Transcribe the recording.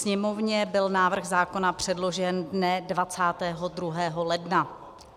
Sněmovně byl návrh zákona předložen dne 22. ledna.